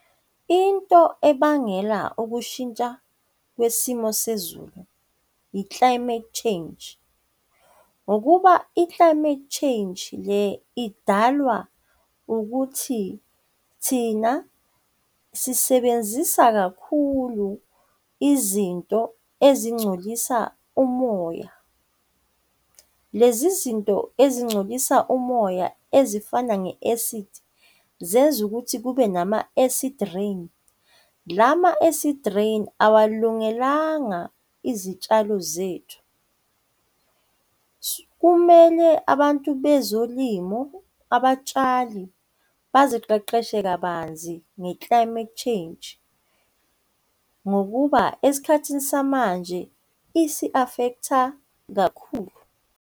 Into ebangela ukushintsha kwesimo sezulu i-climate change ngokuba i-climate change le idalwa ukuthi thina sisebenzisa kakhulu izinto ezingcolisa umoya. Lezi zinto ezingcolisa umoya ezifana ne-acid, zenza ukuthi kube nama-acid rain, lama-acid rain awalungelanga izitshalo zethu. Kumele abantu bezolimo abatshali baziqeqeshe kabanzi nge-climate change, ngokuba esikhathini samanje isi-affect-a kakhulu.